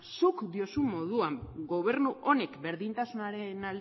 zuk diozun moduan gobernu honek berdintasunaren